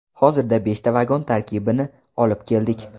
Hozirda beshta vagon tarkibini olib keldik.